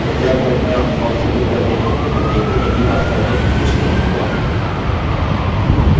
फिलहालजब हम अपना form submit करते हैं हम देखते हैं कि वास्तव में कुछ नहीं हुआ